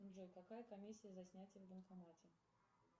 джой какая комиссия за снятие в банкомате